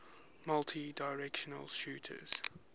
multidirectional shooters